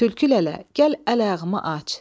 Tülkü lələ, gəl əl-ayağımı aç.